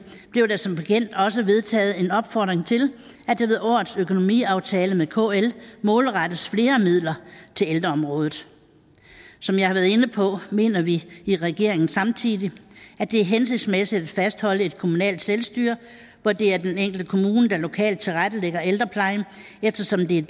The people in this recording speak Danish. blev der som bekendt også vedtaget en opfordring til at der ved årets økonomiaftale med kl målrettes flere midler til ældreområdet som jeg har været inde på mener vi i regeringen samtidig at det er hensigtsmæssigt at fastholde et kommunalt selvstyre hvor det er den enkelte kommune der lokalt tilrettelægger ældreplejen eftersom det er